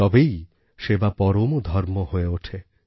তবেই সেবা পরম ধর্ম হয়ে ওঠে